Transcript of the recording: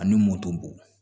Ani motobo